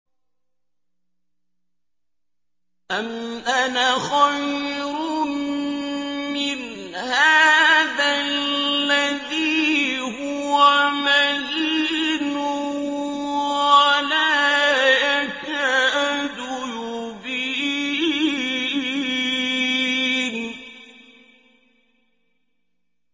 أَمْ أَنَا خَيْرٌ مِّنْ هَٰذَا الَّذِي هُوَ مَهِينٌ وَلَا يَكَادُ يُبِينُ